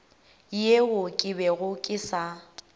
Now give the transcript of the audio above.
yeo ke bego ke sa